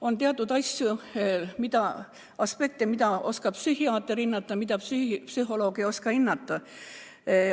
On aga teatud aspekte, mida oskab hinnata psühhiaater, aga psühholoog mitte.